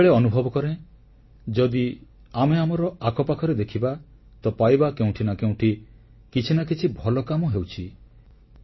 ମୁଁ ସବୁବେଳେ ଅନୁଭବ କରେ ଯଦି ଆମେ ଆମର ଆଖପାଖରେ ଦେଖିବା ତ ପାଇବା କେଉଁଠି ନା କେଉଁଠି କିଛି ନା କିଛି ଭଲକାମ ହେଉଛି